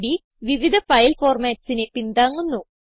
gchem3ഡ് വിവിധ ഫയൽ formatsനെ പിന്താങ്ങുന്നു